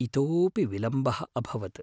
इतोऽपि विलम्बः अभवत्।